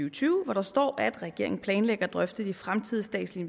og tyve hvor der står at regeringen planlægger at drøfte de fremtidige statslige